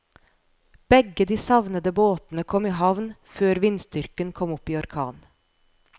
Begge de savnede båtene kom i havn før vindstyrken kom opp i orkan.